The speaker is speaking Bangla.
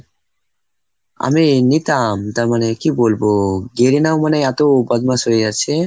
আমি নিতাম, তার মানে কি বলবো? Garena ও মানে এত বদমাশ হয়ে যাচ্ছে।